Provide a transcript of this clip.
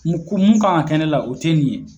Mun ko mun kan ka kɛ ne la, o tɛ nin ye..